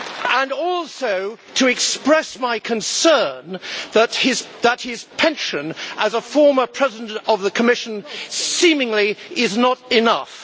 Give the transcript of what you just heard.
And also to express my concern that his pension as a former president of the Commission seemingly is not enough.